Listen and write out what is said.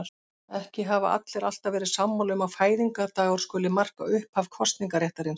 Ekki hafa allir alltaf verið sammála um að fæðingardagur skuli marka upphaf kosningaréttarins.